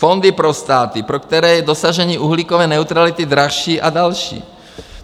Fondy pro státy, pro které je dosažení uhlíkové neutrality dražší, a další.